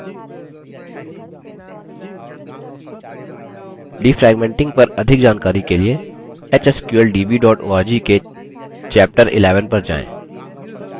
defragmenting पर अधिक जानकारी के लिए hsqldb org के chapter 11 अध्याय पर जाएँ